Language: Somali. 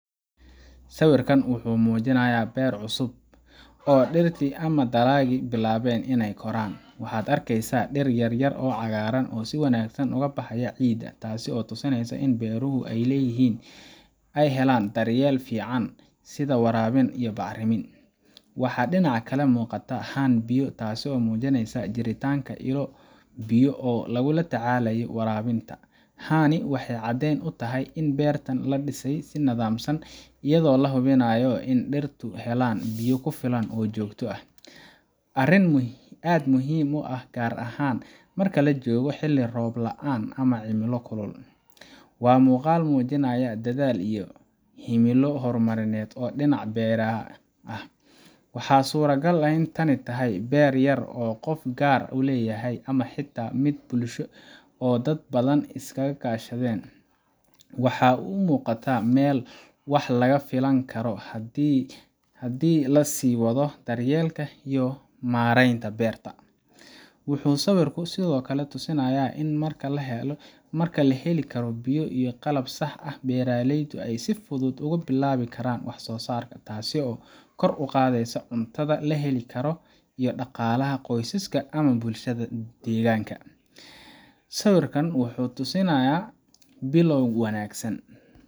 Sawiirkaan wuxuu mujinaaya beer cusub oo dir yaryar si wanagsan ubaxaya, waxeey helaan daryeel fican, jiritaan biya, in beerta loo dise si wanagsan, gaar ahaan marka lagu jiro roob laan, waxaa suura gal inaay tahay Hal qof inuu leyahay, dar yeelka iyo mareenta beerta, marka laheli karo biya, taas oo kor uqaadi karto cunta iyo daqalaha.